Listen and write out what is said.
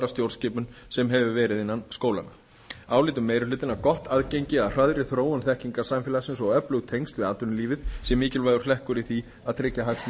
stjórnskipun en verið hefur innan skólanna álítur meiri hlutinn að gott aðgengi að hraðri þróun þekkingarsamfélagsins og öflug tengsl við atvinnulífið sé mikilvægur hlekkur í því að tryggja hagsmuni